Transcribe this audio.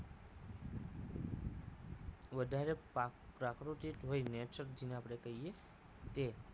વધારે પાક પ્રાકૃતિક વઈ nature જેને આપણે કહીએ તે